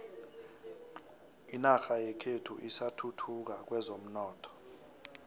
inorha yekhethu isathuthuka kwezomnotho